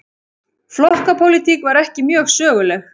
Flokkapólitík var ekki mjög söguleg.